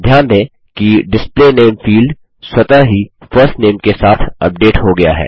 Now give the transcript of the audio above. ध्यान दें कि डिस्प्ले नामे फील्ड स्वतः ही फर्स्ट नामे के साथ अपडेट हो गया है